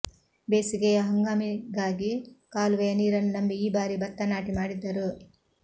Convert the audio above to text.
ಬೇಸಿಗೆಯ ಹಂಗಾಮಿಗಾಗಿ ಕಾಲು ವೆಯ ನೀರನ್ನು ನಂಬಿ ಈ ಬಾರಿ ಭತ್ತ ನಾಟಿ ಮಾಡಿದ್ದರು